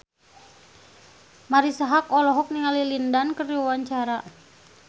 Marisa Haque olohok ningali Lin Dan keur diwawancara